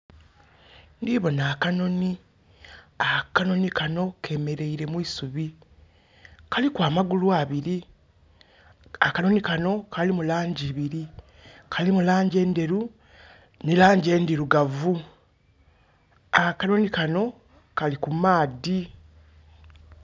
Ndiboona akanoni. Akanoni kano kemereire mwisubi kaliku amagulu abiri. Akanoni kano kalimu langi ibiri. Kalimu langi enderu ne langi endirugavu. Akanoni kano kali kumaadhi.